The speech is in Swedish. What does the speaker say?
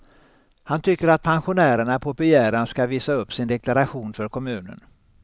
Han tycker att pensionärerna på begäran ska visa upp sin deklaration för kommunen.